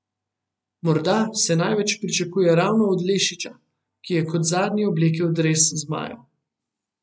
Morda se največ pričakuje ravno od Lešića, ki je kot zadnji oblekel dres zmajev.